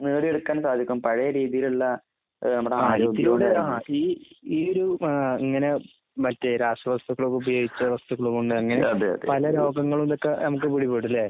നേടിയെടുക്കാൻ സാധിക്കും. പഴയ രീതിയിലുള്ള നമ്മുടെ ഈ ഈ ഏഹ് ഇങ്ങനെ മറ്റേ രാസവസ്തുക്കളൊക്കെ ഉപയോഗിച്ച വസ്തുക്കളുമല്ലാതെ പല രോഗങ്ങളുമൊക്കെ നമുക്ക് പിടിപെടും അല്ലെ?